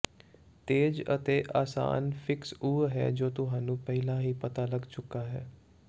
ਤੇਜ਼ ਅਤੇ ਆਸਾਨ ਫਿਕਸ ਉਹ ਹੈ ਜੋ ਤੁਹਾਨੂੰ ਪਹਿਲਾਂ ਹੀ ਪਤਾ ਲੱਗ ਚੁੱਕਾ ਹੈ